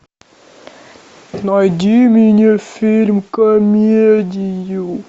найди мне фильм комедию